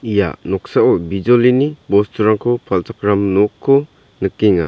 ia noksao bijolini bosturangko palchakram nokko nikenga.